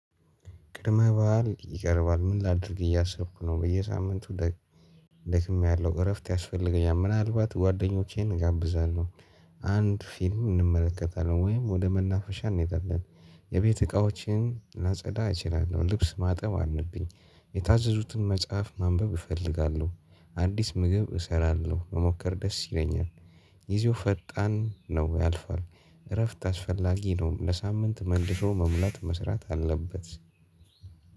ቅድመ በዓል ይቀርባል ምን ላድርግ እያሰብኩ ነው በየሳምንቱ ደክሜያለሁ እረፍት ያስፈልገኛል። ምናልባት ጓደኞቼን እጋብዛለው አንድ ፊልም እንመለከታለን ወይም ወደ መናፈሻ እንሄዳለን። የቤት እቃዎችን ላጸዳ እችላለሁ ልብስ ማጠብ አለብኝ። የታዘዙትን መጽሐፍ ማንበብ እፈልጋለሁ። አዲስ ምግብ እሰራለሁ መሞከር ደስ ይለኛል። ጊዜው ፈጣን ነው ያልፋል። እረፍት አስፈላጊ ነው ለሳምንት መልሶ መሙላት መስራት አለበት።